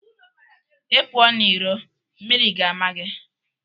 Ị pụọ n'iro mmiri ga ama gị